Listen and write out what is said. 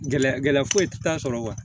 Gɛlɛya gɛlɛya foyi t'a sɔrɔ